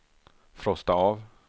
frosta av